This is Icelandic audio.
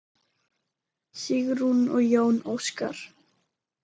Sigrún og Jón Óskar.